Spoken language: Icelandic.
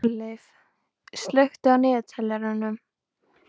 Hjörleif, slökktu á niðurteljaranum.